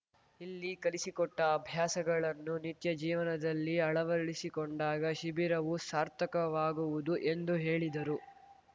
ಇಲ್ಲಿ ಕಲಿಸಿಕೊಟ್ಟಅಭ್ಯಾಸಗಳನ್ನು ನಿತ್ಯ ಜೀವನದಲ್ಲಿ ಅಳವಡಿಸಿಕೊಂಡಾಗ ಶಿಬಿರವು ಸಾರ್ಥಕವಾಗುವುದು ಎಂದು ಹೇಳಿದರು